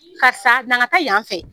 Karisa n'an ka taa yan fɛ